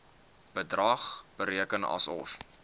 bedrag bereken asof